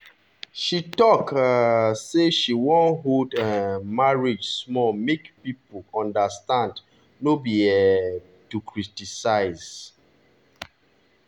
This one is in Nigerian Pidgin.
she talk um say she wan hold um marriage small make people understand no be um to criticize.